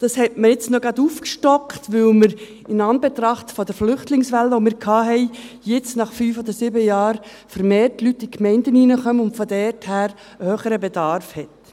Dies hat man jetzt noch gerade aufgestockt, weil wir in Anbetracht der Flüchtlingswelle, die wir hatten, jetzt nach fünf bis sieben Jahren vermehrt Leute in die Gemeinden reinkommen, und man von daher einen höheren Bedarf hat.